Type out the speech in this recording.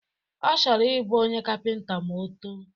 Ọ chọrọ ịbụ onye kapịnta ma o too